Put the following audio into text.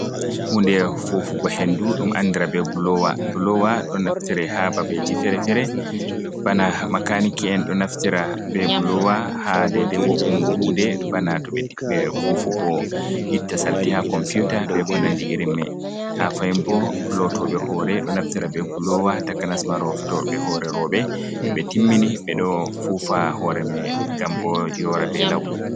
Hunde fufugo hendu dum andira be blowa, do naftira ha babeji fere-fere bana makaniki'en do naftira be blowa ha dede wo’ungo hunde bana tobe fufugo itta salti ha komputa be konandi irin mai ha fahinbo lotobe hore do naftira be bulowa takanasma lotobe hore robe to be timmini be do fufa hore mai gam bo yora be lau.